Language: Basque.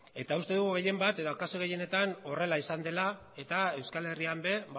uste dugu gehien bat edo kasu gehienetan horrela izan dela eta euskal herrian ere